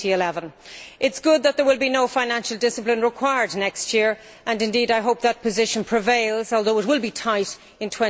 2011. It is good that there will be no financial discipline required next year, and indeed I hope that position prevails, although it will be tight in